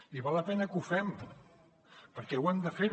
i val la pena que ho fem perquè ho hem de fer